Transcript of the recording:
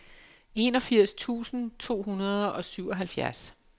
enogfirs tusind to hundrede og syvoghalvfjerds